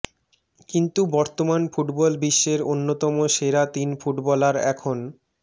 কিন্তু বর্তমান ফুটবল বিশ্বের অন্যতম সেরা তিন ফুটবলার এখন